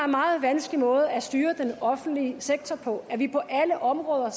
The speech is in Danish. meget vanskelig måde at styre den offentlige sektor på ved på alle områder